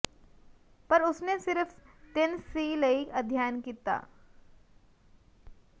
ਪਰ ਉਸ ਨੇ ਸਿਰਫ ਤਿੰਨ ਸਿ ਲਈ ਅਧਿਐਨ ਕੀਤਾ